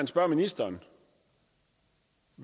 spørger ministeren